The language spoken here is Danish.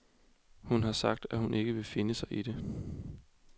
Hun har sagt, at hun ikke vil finde sig i det.